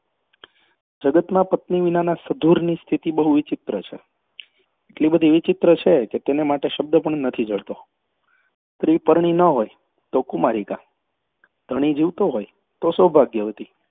જગતમાં પત્ની વિનાના સધુરની સ્થિતિ બહુ વિચિત્ર છે. એટલી બધી વિચિત્ર છે કે તેને માટે શબ્દ પણ નથી જડતો. સ્ત્રી પરણી ન હોય તો કુમારિકા, ધણી જીવતો હોય તો સૌભાગ્યવતી